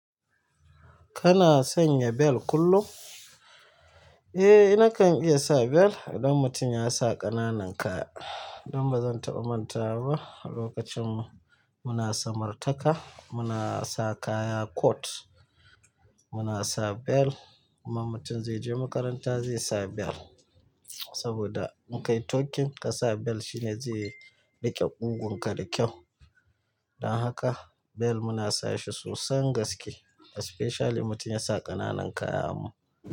Kana sanya bel kullum? Eh, ina kan iya sa bel idan mutum ya sa ƙananan kaya. Don bazan taɓa mantawa ba, lokacin muna samar taka muna sa kaya coat, muna sa belt kuma mutum zai je makaranta zai sa belt saboda in kai tucking kasa belt shine zai riƙe ƙugunka da kyau. Don haka belt muna sashi sosan gaske, especially mutum yasa ƙananan kaya mu.